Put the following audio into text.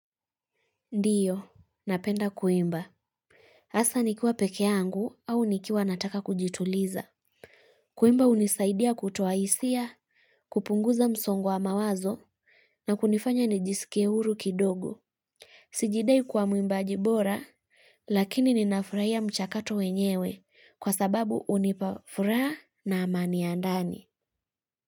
Ndiyo, napenda kuimba. Asa nikiwa peke yangu au nikiwa nataka kujituliza. Kuimba hunisaidia kutoa hisia, kupunguza msongo wa mawazo na kunifanya nijisikie huru kidogo. Sijidai kuwa muimbaji bora, lakini ninafurahia mchakato wenyewe kwa sababu hunipafuraha na amani ya ndani.